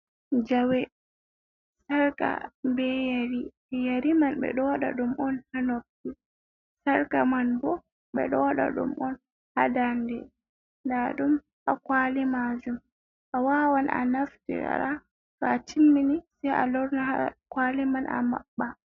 Jawe, sarka, be yari, yari man ɓe ɗowaɗa ɗum on ha noppi, sarka man bo ɓe ɗo waɗa ɗum on ha daa nde, nda ɗum ha kwali majum, a wawan a nafti ra to a timmini sai a lorna ha kwali man a maɓɓa.